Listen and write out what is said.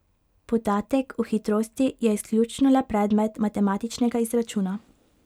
Podatek o hitrosti je izključno le predmet matematičnega izračuna.